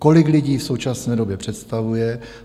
Kolik lidí v současné době představuje?